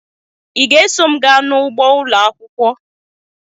ị ga-eso m gaa n'ugbo ụlọ akwụkwọ?